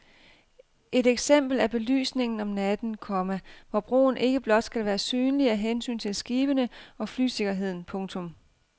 Et eksempel er belysningen om natten, komma hvor broen ikke blot skal være synlig af hensyn til skibene og flysikkerheden. punktum